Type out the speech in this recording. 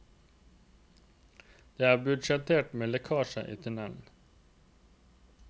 Det er budsjettert med lekkasjer i tunnelen.